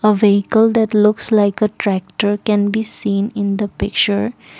a vehicle that looks like a tractor can be seen in the picture.